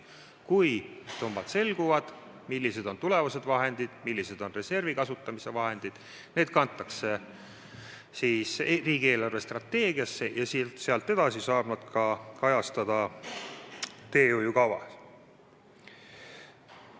Kui summad selguvad, kui saame teada, kui suured on tulevased vahendid, kui suured on reservi kasutamise summad, siis need kantakse riigi eelarvestrateegiasse ja sealt edasi saab need kajastada ka teehoiukavas.